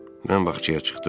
Mən bağçaya çıxdım.